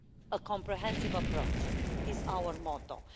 A comprehensive approach is our motto.